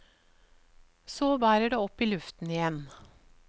Så bærer det opp i luften igjen.